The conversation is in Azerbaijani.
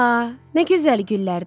A, nə gözəl güllərdir.